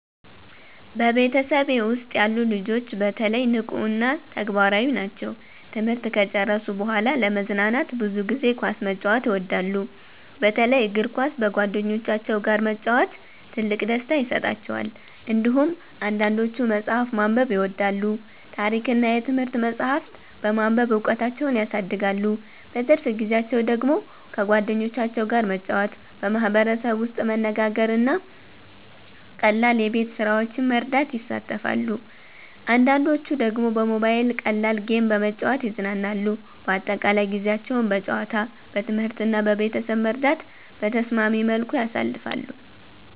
በቤተሰቤ ውስጥ ያሉ ልጆች በተለይ ንቁ እና ተግባራዊ ናቸው። ትምህርት ከጨረሱ በኋላ ለመዝናናት ብዙ ጊዜ ኳስ መጫወት ይወዳሉ፣ በተለይ እግር ኳስ በጓደኞቻቸው ጋር መጫወት ትልቅ ደስታ ይሰጣቸዋል። እንዲሁም አንዳንዶቹ መጽሐፍ ማንበብ ይወዳሉ፣ ታሪክ እና የትምህርት መጻሕፍት በማንበብ እውቀታቸውን ያሳድጋሉ። በትርፍ ጊዜያቸው ደግሞ ከጓደኞቻቸው ጋር መጫወት፣ በማህበረሰብ ውስጥ መነጋገር እና ቀላል የቤት ስራዎችን መርዳት ይሳተፋሉ። አንዳንዶቹ ደግሞ በሞባይል ቀላል ጌም በመጫወት ይዝናናሉ። በአጠቃላይ ጊዜያቸውን በጨዋታ፣ በትምህርት እና በቤተሰብ መርዳት በተስማሚ መልኩ ያሳልፋሉ።